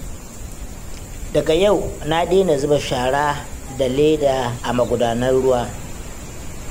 Daga yau na dena zuba shara da leda a magudanar ruwa.